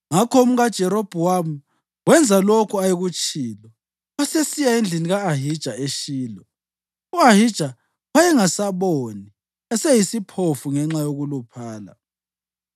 Ngakho umkaJerobhowamu wenza lokho ayekutshilo wasesiya endlini ka-Ahija eShilo. U-Ahija wayengasaboni, eseyisiphofu ngenxa yokuluphala.